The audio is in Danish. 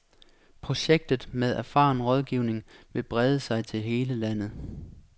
Projektet med erfaren rådgivning vil brede sig til hele landet.